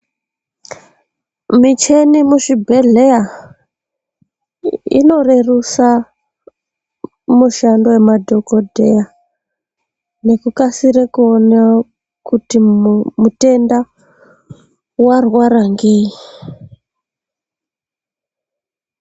Micheni muzvibhedhleya inorerusa mushando wemadhogodheya nekukasire kuona kuti mutenda warwara ngei.